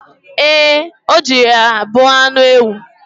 Ee, o jiri ya bu anụ ewu.